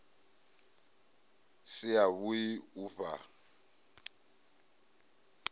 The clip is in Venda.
si a vhui u fhaa